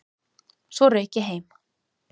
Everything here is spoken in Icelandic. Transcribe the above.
Svo rauk ég heim.